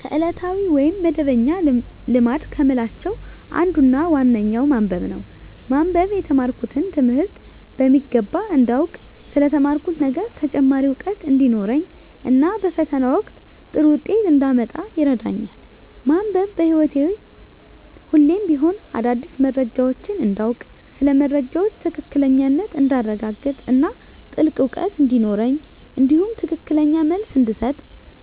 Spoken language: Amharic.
ከዕለታዊ ወይም መደበኛ ልማድ ከምላቸው አንዱና ዋነኛው ማንበብ ነው። ማንበብ የተማርኩትን ትምህርት በሚገባ እንዳውቅ ስለ ተማርኩት ነገር ተጨማሪ እውቀት እንዲኖረኝ እና በፈተና ወቅት ጥሩ ውጤት እንዳመጣ ይረዳኛል። ማንበብ በህይወቴ ሁሌም ቢሆን አዳዲስ መረጃዎችን እንዳውቅ ስለ መረጃዎች ትክክለኛነት እንዳረጋግጥ እና ጥልቅ እውቀት እንዲኖረኝ እንዲሁም ትክክለኛ መልስ እንድሰጥ